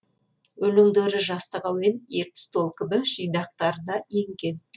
өлеңдері жастық әуен ертіс толқыны жинақтарына енген